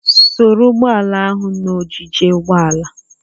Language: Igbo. Soro Ugboala ahụ na ogige ugboala!